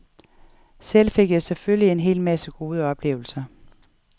Selv fik jeg selvfølgelig en hel masse gode oplevelser.